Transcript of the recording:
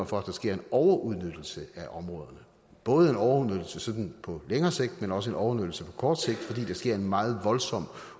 for at der sker en overudnyttelse af områderne både en overudnyttelse sådan på længere sigt men også en overudnyttelse på kort sigt fordi der sker en meget voldsom